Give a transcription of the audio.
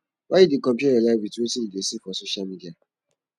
why you dey compare your life wit wetin you dey see for social media